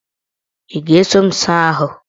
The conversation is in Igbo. Ị ga-eso m saa ahụ?